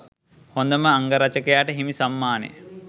හොඳම අංගරචකයාට හිමි සම්මානය